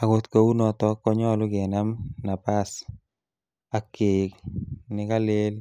Agot kounoton konyolu kenam napas ak keik nekalel